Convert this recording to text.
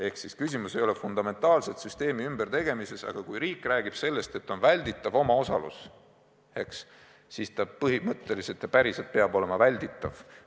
Ehk küsimus ei ole fundamentaalselt süsteemi ümbertegemises, aga kui riik räägib sellest, et on välditav omaosalus, siis ta peab põhimõtteliselt ja päriselt olema välditav.